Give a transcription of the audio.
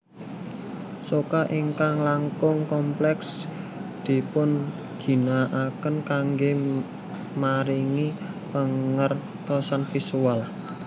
Soca ingkang langkung kompleks dipun ginakaken kanggé maringi pangertosan visual